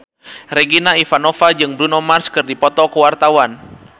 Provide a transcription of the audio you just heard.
Regina Ivanova jeung Bruno Mars keur dipoto ku wartawan